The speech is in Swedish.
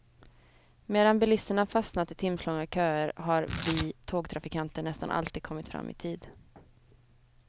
Medan bilisterna fastnat i timslånga köer har vi tågtrafikanter nästan alltid kommit fram i tid.